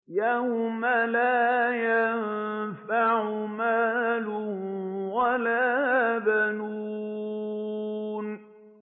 يَوْمَ لَا يَنفَعُ مَالٌ وَلَا بَنُونَ